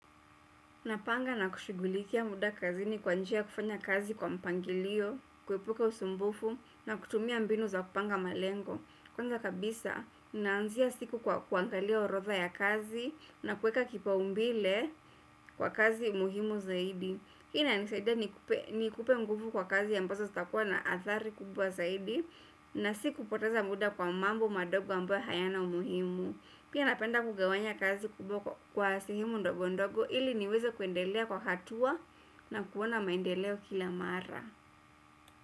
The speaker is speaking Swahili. Napanga na kushughulikia muda kazini kwa njia kufanya kazi kwa mpangilio, kuepuka usumbufu na kutumia mbinu za kupanga malengo. Kwanza kabisa, naanzia siku kwa kuangalia orodha ya kazi na kuweka kipaumbele kwa kazi muhimu zaidi. Hii inanisaidia ni kupe nguvu kwa kazi ambazo zitakuwa na athari kubwa zaidi na si kupoteza muda kwa mambo madogo ambayo hayana umuhimu. Pia napenda kugawanya kazi kubwa kwa sehemu ndogo ndogo ili niweze kuendelea kwa hatua na kuona maendeleo kila mara.